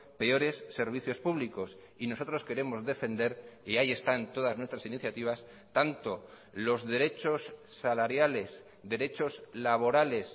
peores servicios públicos y nosotros queremos defender y ahí están todas nuestras iniciativas tanto los derechos salariales derechos laborales